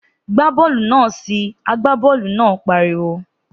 Gbá bọ́ọ̀lù náà si! Àgbá bọ́ọ̀lù náà pariwo.